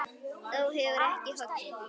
Þú hefur þó ekki hoggið?